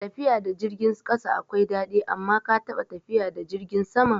Tafiya da jirgin ƙasa akwai daɗi, amma ka taɓa tafiya da jirgin sama?